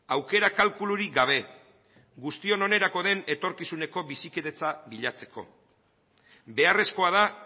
aukera kalkulurik gabe guztion onerako den etorkizuneko bizikidetza bilatzeko beharrezkoa da